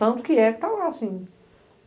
Tanto que é que está lá, sim.